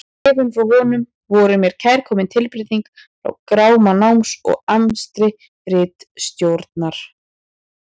Bréfin frá honum voru mér kærkomin tilbreyting frá gráma náms og amstri ritstjórnar.